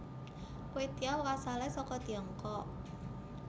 Kwetiao asale saka Tiongkok